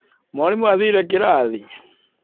Mwarimũ aathire kĩrathi.